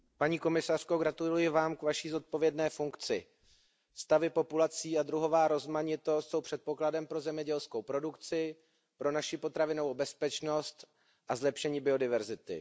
Pane předsedající, paní komisařko, gratuluji vám k vaší zodpovědné funkci. Stavy populací a druhová rozmanitost jsou předpokladem pro zemědělskou produkci, pro naši potravinovou bezpečnost a zlepšení biodiverzity.